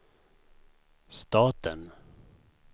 staten